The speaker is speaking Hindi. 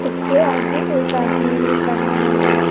उसके आगे एक आदमी भी खड़ा हुआ है।